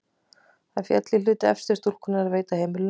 Það féll í hlut elstu stúlkunnar að veita heimilinu forstöðu.